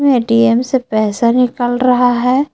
ATM से पैसा निकल रहा है।